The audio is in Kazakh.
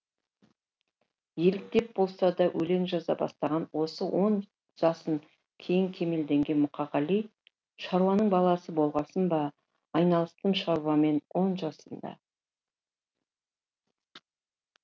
еліктеп болса да өлең жаза бастаған осы он жасын кейін кемелденген мұқағали шаруаның баласы болғасын ба айналыстым шаруамен он жасымда